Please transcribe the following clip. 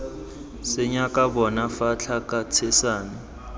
senyaka bona fa thaka tshetsana